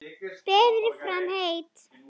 Berið fram heitt.